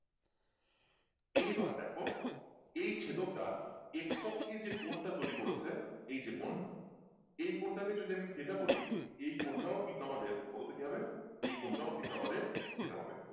এইবার দেখো এই ছেদক টা এক্সসখী যে কোনটা তৈরি করেছে এই যে কোন এই কোন টাকে যদি আমি theta বলি এই কোন টাও কিন্তু আমাদের বলতো কি হবে এই কোন টাও কিন্তু আমাদের theta হবে